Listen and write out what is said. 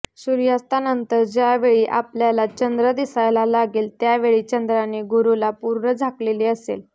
सूर्यास्तानंतर ज्यावेळी आपल्याला चंद्र दिसायला लागेल़ त्यावेळी चंद्राने गुरूला पूर्ण झाकलेले असेल